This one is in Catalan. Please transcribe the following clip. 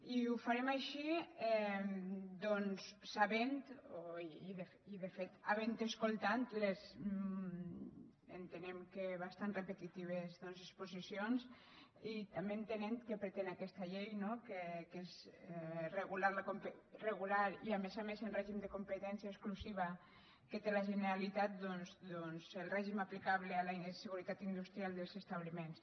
i ho farem així sabent i de fet havent escoltat les entenem que bastant repetitives exposicions i també entenent què pretén aquesta llei no que és regular i a més a més en règim de competència exclusiva que té la generalitat el règim aplicable a la seguretat industrial dels establiments